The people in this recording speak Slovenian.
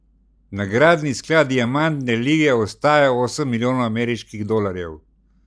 Nagradni sklad diamantne lige ostaja osem milijonov ameriških dolarjev.